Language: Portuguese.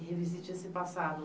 e revisite esse passado.